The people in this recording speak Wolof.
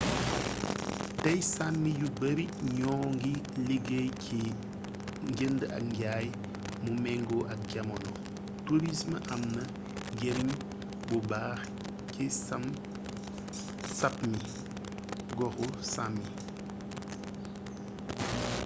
tey sami yu baari ñoo ngi liggéey ci njënd ak njaay mu mengoo ak jamono tourism amna njariñ bu bax ci sapmi goxu sàmi